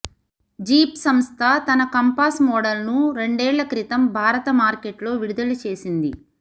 jeep సంస్థ తన Compass model ను రెండేళ్ల క్రితం భారత మార్కెట్లో విడుదల చేసింది